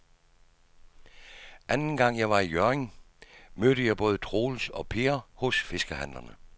Anden gang jeg var i Hjørring, mødte jeg både Troels og Per hos fiskehandlerne.